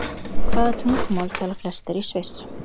Hvaða tungumál tala flestir í Sviss?